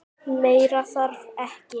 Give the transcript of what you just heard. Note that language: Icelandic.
Meira þarf ekki.